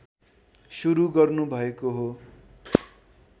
शुरु गर्नुभएको हो